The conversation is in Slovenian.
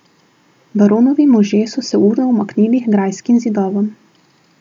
Baronovi možje so se urno umaknili h grajskim zidovom.